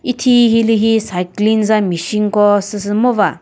ethi hilüli cycling za machine ko süsü ngova.